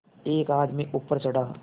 एक आदमी ऊपर चढ़ा